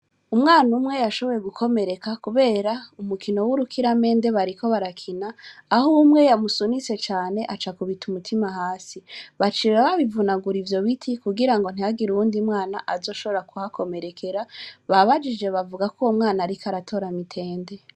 Umwana umwe yashoboye gukomereka, kubera umukino w'urukiramende bariko barakina aho umwe yamusunise cane aca kubita umutima hasi bacira babivunagura ivyo biti kugira ngo ntihagire uwundi mwana azoshobora kuhakomerekera babajije bavuga ko uwo mwana, ariko aratoramitende.